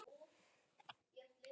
Látum ljósið umlykja okkur.